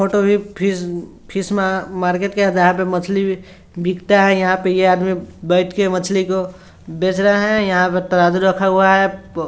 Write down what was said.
फोट मैं fish fish market के आधार पे मछली बिकता है| यहाँ पे यह आदमी बेच क मछली को बेच रहा है| यहाँ पे तराज़ू लगा रखा हुआ है।